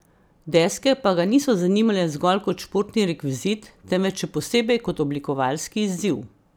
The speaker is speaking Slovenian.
Deske pa ga niso zanimale zgolj kot športni rekvizit, temveč še posebej kot oblikovalski izziv.